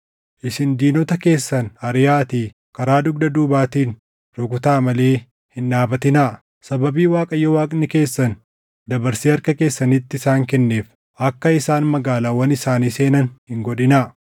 Isin diinota keessan ariʼaatii karaa dugda duubaatiin rukutaa malee hin dhaabatinaa! Sababii Waaqayyo Waaqni keessan dabarsee harka keessanitti isaan kenneef akka isaan magaalaawwan isaanii seenan hin godhinaa.”